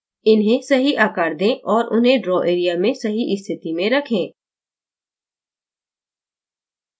इन्हें सही आकार दें और उन्हें draw area में सही स्थिति में रखें